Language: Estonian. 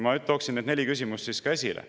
Ma tooksin need neli küsimust ka esile.